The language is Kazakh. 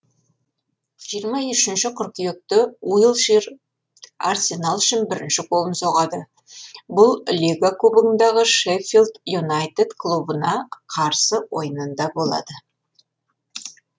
жиырма үшінші қыркүйекте уилшир арсенал үшін бірінші голын соғады бұл лига кубогындағы шеффилд юнайтед клубына қарсы ойында болады